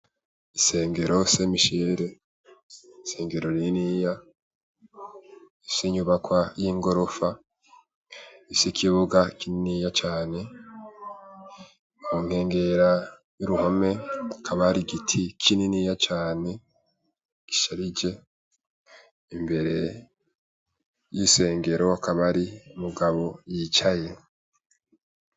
Isengero Semishere, isengero rininiya rifise inyubakwa y'igorofa ifise ikibuga kininiya cane, mu nkengera y'uruhome hakaba hari igiti kininiya cane gisharije, imbere y'isengero hakaba hari umugabo yicaye.